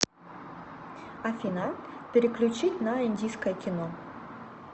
афина переключить на индийское кино